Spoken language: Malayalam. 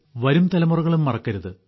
വരും തലമുറകളും മറക്കരുത്